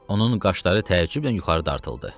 Onun qaşları təəccüblə yuxarı dartıldı.